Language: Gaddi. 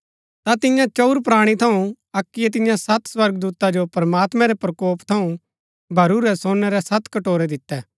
ता तियां चंऊर प्राणी थऊँ अक्कीयै तियां सत स्वर्गदूता जो प्रमात्मैं रै प्रकोप थऊँ भरूरै सोनै रै सत कटोरै दितै